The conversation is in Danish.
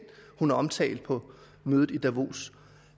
hun har omtalt på mødet i davos